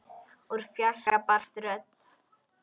Úr fjarska barst rödd.